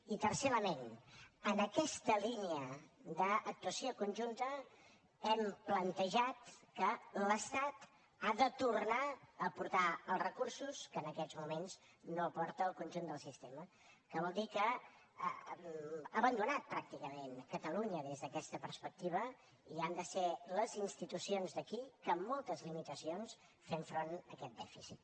i tercer element en aquesta línia d’actuació conjunta hem plantejat que l’estat ha de tornar a aportar els recursos que en aquests moments no aporta al conjunt del sistema que vol dir que ha abandonat pràcticament catalunya des d’aquesta perspectiva i han de ser les institucions d’aquí que amb moltes limitacions fem front a aquest dèficit